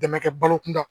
Dɛmɛ kɛ balokun kan